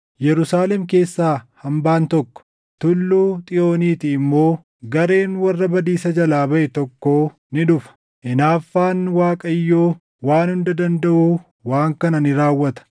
Yerusaalem keessaa hambaan tokko, Tulluu Xiyooniitii immoo gareen warra badiisa jalaa baʼe tokkoo ni dhufa. Hinaaffaan Waaqayyoo Waan Hunda Dandaʼuu waan kana ni raawwata: